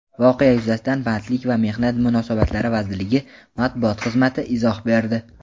Voqea yuzasidan Bandlik va mehnat munosabatlari vazirligi matbuot xizmati izoh berdi.